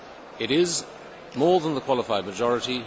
It is more than the qualified majority.